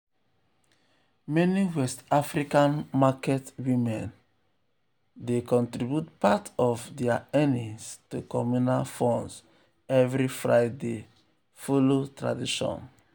meni west african market um women um women um dey contribute part of dia earnings to communal funds every friday um follow tradition.